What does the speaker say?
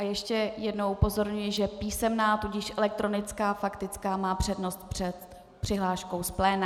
A ještě jedno upozornění, že písemná, tudíž elektronická faktická má přednost před přihláškou z pléna.